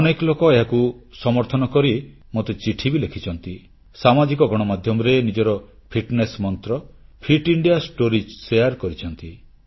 ଅନେକ ଲୋକ ଏହାକୁ ସମର୍ଥନ କରି ମୋତେ ଚିଠି ବି ଲେଖିଛନ୍ତି ସାମାଜିକ ଗଣମାଧ୍ୟମରେ ନିଜର ଫିଟନେସ ମନ୍ତ୍ର ଫିଟ୍ ଇଣ୍ଡିଆର ସଫଳ କାହାଣୀ ବାଂଟୁଛନ୍ତି